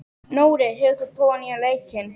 Nóri, hefur þú prófað nýja leikinn?